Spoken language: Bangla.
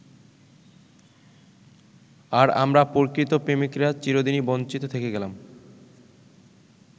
আর আমরা প্রকৃত প্রেমিকরা চিরদিনই বঞ্চিত থেকে গেলাম।